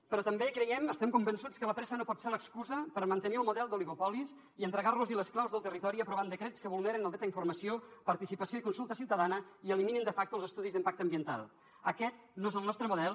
però també creiem estem convençuts que la pressa no pot ser l’excusa per mantenir el model d’oligopoli i entregar los les claus del territori aprovant decrets que vulneren el dret a informació participació i consulta ciutadana i eliminen de factoaquest no és el nostre model